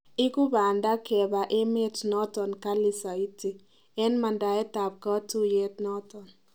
Igu pandab kaba emet noton kali saiti en mandaet ab katuyet neton